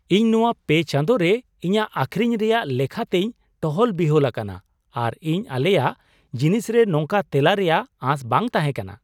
ᱤᱧ ᱱᱚᱶᱟ ᱯᱮ ᱪᱟᱸᱫᱳ ᱨᱮ ᱤᱧᱟᱹᱜ ᱟᱹᱠᱷᱨᱤᱧ ᱨᱮᱭᱟᱜ ᱞᱮᱠᱷᱟ ᱛᱮᱧ ᱴᱚᱦᱚᱞ ᱵᱤᱦᱚᱞ ᱟᱠᱟᱱᱟ ᱟᱨ ᱤᱧ ᱟᱞᱮᱭᱟᱜ ᱡᱤᱱᱤᱥ ᱨᱮ ᱱᱚᱝᱠᱟᱱ ᱛᱮᱞᱟ ᱨᱮᱭᱟᱜ ᱟᱸᱥ ᱵᱟᱝ ᱛᱟᱦᱮᱸᱠᱟᱱᱟ ᱾